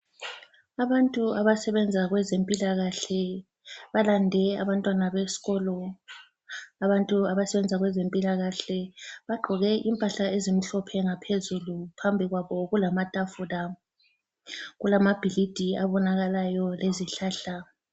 Abantu abasebenza kwezempilakahle balande abantwana besikolo. Abantu abasebenza kwezempilakahle bagqoke impahla ezimhlophe ngaphezulu. Phambi kwabo kulamatafula. Kulamabhilidi abonakalayo lezihlahla.